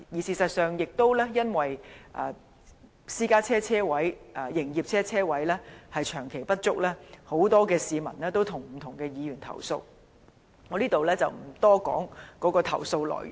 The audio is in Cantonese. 事實上，亦因為私家車車位和營業車車位長期不足，很多市民曾向不同的議員投訴，我在這裏不多談投訴內容。